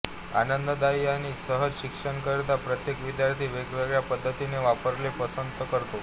आनंददायी आणि सहज शिक्षणाकरीता प्रत्येक विद्यार्थी वेगवेगळ्या पद्धती वापरणे पसंत करतो